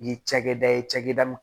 Ni cakɛda ye cakɛda